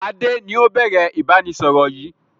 Adé ni ó bẹ̀rẹ̀ ìbánisọọ̀rọ̀ yìí